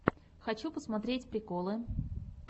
хочу посмотреть приколы